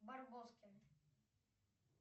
барбоскины